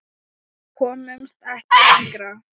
Við komumst ekki lengra.